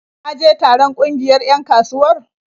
Ka je taron ƙungiyar 'yan kasuwar?